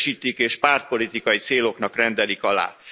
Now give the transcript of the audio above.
Kiüresítik és pártpolitikai céloknak rendelik alá.